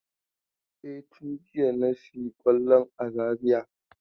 E, tun jiya na sayi kwallon a Zariya.